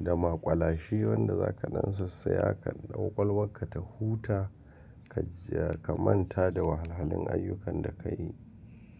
da maƙwalashe wanda za ka nan sissiya kwakwalwanka ta huta ka manta da wahalhalin ayyukan da ka yi.